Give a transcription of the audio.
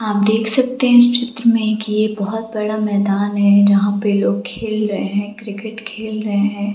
आप देख सकते है इस चित्र मे की ये बहुत बड़ा मैदान है जहां पे लोग खेल रहे है क्रिकेट खेल रहे है।